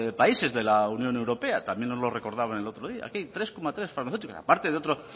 países de la unión europea también nos lo recordaban el otro día aquí tres coma tres farmacéuticos a parte de otro